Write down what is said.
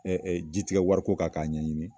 Ɛɛ jitigɛ wari ko kan k'a ɲɛɲini